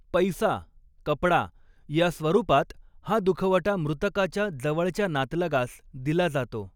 पैसा, कपडा या स्वरूपात हा दुखवटा मृतकाच्या जवळच्या नातलगास दिला जातो.